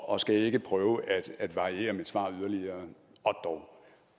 og skal ikke prøve at variere mit svar yderligere